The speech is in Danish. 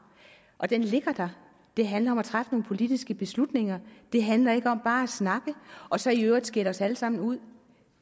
og den ligger der det handler om at træffe nogle politiske beslutninger det handler ikke om bare at snakke og så i øvrigt skælde os alle sammen ud